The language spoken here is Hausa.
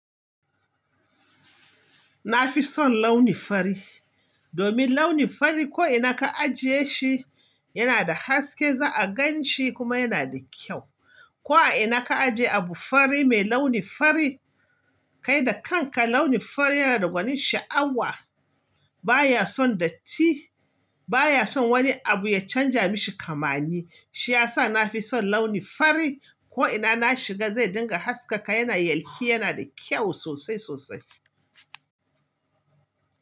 Nafi son launi fari, domin launi fari ko ina ka ajiye shi yana da haske, za a gan shi kuma yana da kyau. Ko a ina ka ajiye abu fari mai launi fari, kai da kanka launi fari yana da gwanin sha'awa. Ba ya son datti, ba ya son wani abu ya canja mishi kamanni. Shi ya sa na fi son launi fari. Ko ina na shiga zai dinga haskaka, yana yalƙi, yana da kyau sosai sosai.